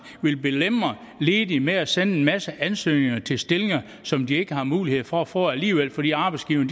vil belemre ledige med at sende en masse ansøgninger til stillinger som de ikke har mulighed for at få alligevel fordi arbejdsgiverne